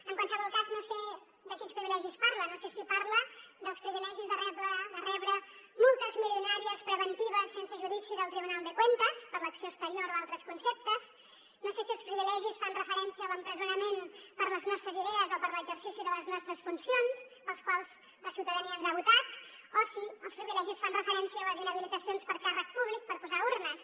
en qualsevol cas no sé de quins privilegis parla no sé si parla dels privilegis de rebre multes milionàries preventives sense judici del tribunal de cuentas per l’acció exterior o altres conceptes no sé si els privilegis fan referència a l’empresonament per les nostres idees o per l’exercici de les nostres funcions pels quals la ciutadania ens ha votat o si els privilegis fan referència a les inhabilitacions per a càrrec públic per posar urnes